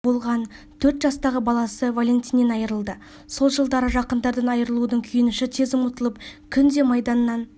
болған төрт жастағы баласы валентиннен айырылды сол жылдары жақындардан айырылудың күйініші тез ұмытылып күнде майданнан